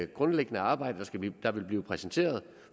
grundlæggende arbejde der vil blive præsenteret